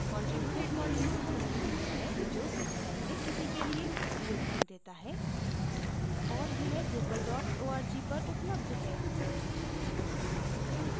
contributed module वह module है जो समुदाय में किसी के लिए योगदान देता है और यह drupal org पर उपलब्ध है